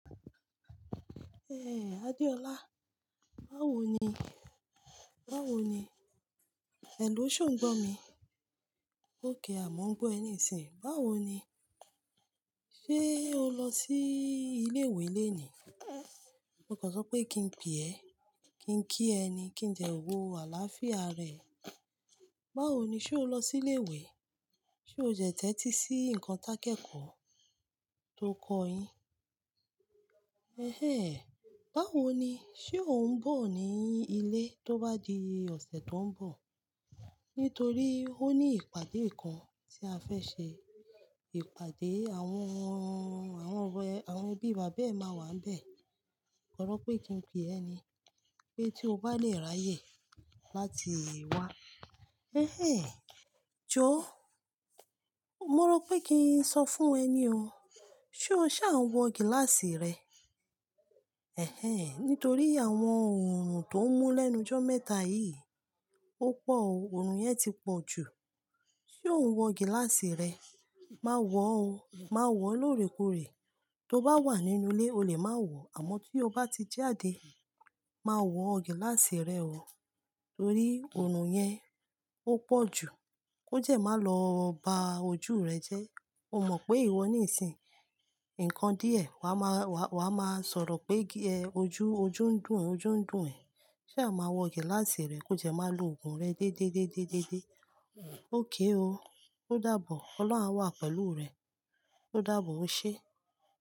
L Adeola, báwo ni? Báwo ni? Hello, ṣe ò ń gbọ̀ mí? Okay, àmà ń gbọ̀ ẹ nísìnyí. Báwo ni? Ṣé o lọ sí ilé ìwé lónìí? Mo gbọ́dọ̀ sọ pé kí n pè ẹ́, kí n kí ẹ ni, kí n jẹ òwò àlàáfíà rẹ. Báwo ni? Ṣé o lọ sí ilé ìwé? Ṣé o tẹ̀ti sí ǹkan takẹ́kọ̀ọ́ tó kọ yín? Ehen, báwo ni? Ṣé ò ń bọ̀ ni ilé tó bá di ọ̀sẹ̀ tó ń bọ̀? Nítorí ó ní ìpàdé kan tí a fẹ́ ṣe. Ìpàdé àwọn, àwọn ọ̀rẹ́, àwọn ẹbí bàbá ẹ máa wà níbẹ̀. Ọrọ pé kí n pè ẹ́ ni pé tí o bá lè ráyè láti wá. Ehen, jó. Mo rò pé kí n sọ fún ẹ ni o. Ṣé o ṣà ń wọ gíláàsì rẹ? Nítorí àwọn òòrùn tó ń mú lẹ́nu jọ́ mẹ́ta yìí ó pọ̀ o, òòrùn yẹn ti pọ̀ jù. Ṣé o ń wọ gíláàsì rẹ? Máa wọ̀ o, máa wọ̀ lóòrèkóòrè. Tó bá wà nínú ilé o le máa wọ̀, àma tí o bá ti jáde, máa wọ gíláàsì rẹ o, torí òòrùn yẹn ó pọ̀ jù. Kó jẹ́ má lọ ba ojú rẹ jẹ́. O mọ̀ pé ìwọ nísìnyí, ǹkan díẹ̀ wa máa, wa, wa máa sọ̀rọ̀ pé ojú, ojú ń dùn, ojú ń dùn ẹ́. Sa máa wọ gíláàsì rẹ kó jẹ́ máa lo òògùn rẹ dédé dédé dédé? Okay o. Ó dáàbò. Ọlọ́run á wà pẹ̀lú rẹ. Ó dáàbò o ṣe.